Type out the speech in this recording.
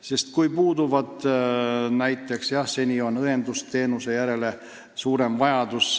Seni on olnud suurem vajadus õendusteenuse järele.